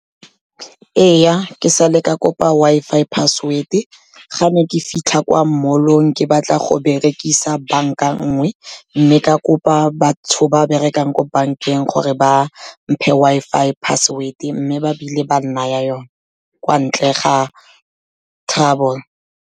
Ee, ke sale ka kopa Wi-Fi password-e ga ne ke fitlha kwa mallong, ke batla go berekisa banka nngwe mme ka kopa batho ba berekang ko bankeng gore ba mphe Wi-Fi password, mme ba bile ba nnaya yone kwa ntle ga trouble.